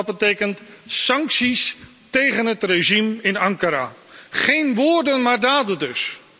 Dat betekent sancties tegen het regime in Ankara. Geen woorden, maar daden dus.